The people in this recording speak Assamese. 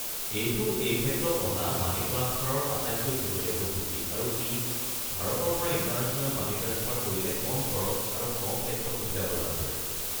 এইটো এই ক্ষেত্ৰত অহা মানি ট্ৰাঞ্চফাৰৰ আটাইতকৈ শেহতীয়া পদ্ধতি আৰু ই ভাৰতৰ পৰা ইণ্টাৰনেশ্যনেল মানি ট্ৰাঞ্চফাৰ কৰিলে কম খৰচ আৰু কম টেক্সৰ সুবিধা প্ৰদান কৰে।